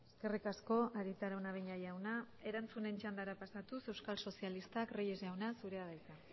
eskerrik asko arieta araunabeña jauna erantzun txanda pasatu euskal sozialista reyes jauna zurea da hitza